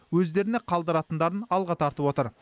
өздеріне қалдыратындарын алға тартып отыр